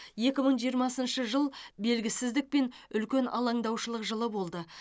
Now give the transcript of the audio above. екі мың жиырмасыншы жыл белгісіздік пен үлкен алаңдаушылық жылы болды